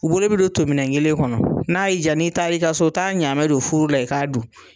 U bolo bi don tominɛ kelen kɔnɔ , n'a y'i ja n'i taara i ka so taa ɲaamɛ don furu la i k'a dun.